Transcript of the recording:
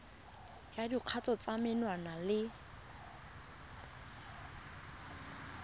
ya dikgatiso tsa menwana le